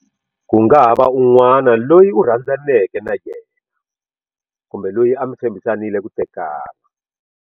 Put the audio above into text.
Ku nga ha va un'wana loyi u rhandzaneke na yena kumbe loyi a mi tshembhisanile ku tekana.